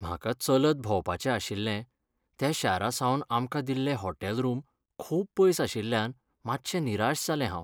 म्हाका चलत भोंवपाचें आशिल्लें त्या शारासावन आमकां दिल्लें हॉटेल रूम खूब पयस आशिल्ल्यान मात्शें निराश जालें हांव.